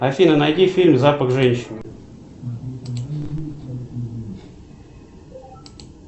афина найди фильм запах женщины